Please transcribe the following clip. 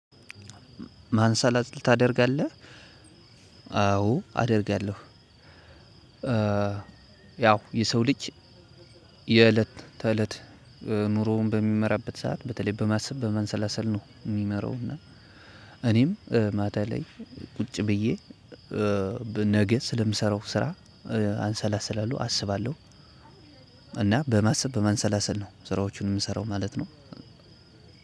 ማንሳላት ልታደርግ አለ አዎ አደርጋለሁ። ያው የሰው ልጅ የእለት ተእለት ኑሮውን በሚመራበት ሰዓት በተለይ በማሰብ በመንሰላሰል ነው የሚመራው። እና እኔም ማታ ላይ ቁጭ ብዬ ነገ ስለምሰራው ስራ አንሰላስል አለው አስባለሁ። እና በማሰብ በማንሰላሰል ነው ስራዎቹን የምሰራው ማለት ነው።